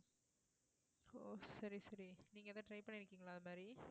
ஓ சரி சரி நீங்க எதாவது try பண்ணியிருக்கீங்களா இந்த மாதிரி